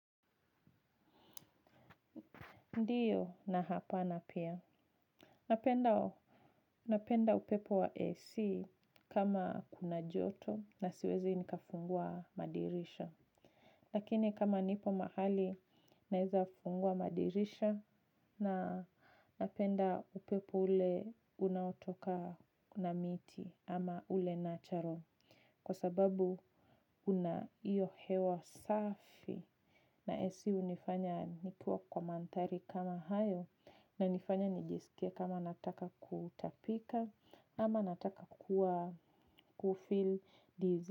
Ndiyo na hapana pia napenda napenda upepo wa AC kama kuna joto na siwezi nikafungua madirisha. Lakini kama nipo mahali naeza fungua madirisha na napenda upepo ule unaotoka na miti ama ule natural. Kwa sababu una iyo hewa safi na SU hunifanya nikue kwa mandhari kama hayo ina nifanya nijisikie kama nataka kutapika ama nataka kuwa kufil dizzy.